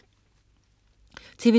TV2: